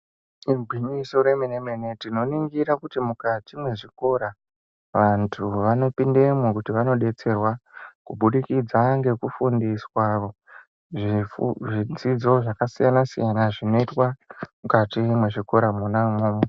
Igwinyiso remenemene tinoringira kuti mukati mwezvikora vanthu vanopindemwo kuti vanodetserwa kubukidza ngekufundiswa zvidzidzo zvakasiyana siyana zvinoitwa mukati mwona umwomwo.